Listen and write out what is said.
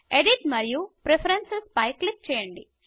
edit మరియు preferences పై click చేయండి